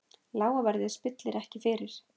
Lága verðið spillir ekki fyrir.